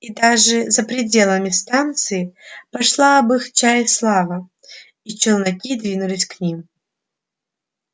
и даже за пределами станции пошла об их чае слава и челноки двинулись к ним